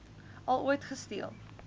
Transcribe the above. al ooit gesteel